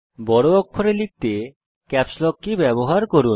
বড় অক্ষরে লিখতে ক্যাপস লক কী ব্যবহার করুন